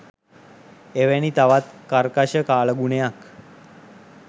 එවැනි තවත් කර්කශ කාලගුණයක්